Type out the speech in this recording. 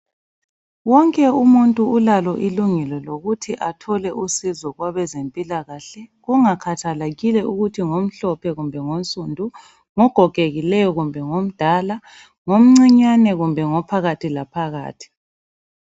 Wonke umuntu ulalo ilungelo lokuthi athole usizo kwabezempilakahle kungakhathalekile ukuthi ngomhlophe kumbe ngonsundu, ngogogekileyo kumbe ngomdala, ngomncinyane kumbe ngophakathilaphakathi.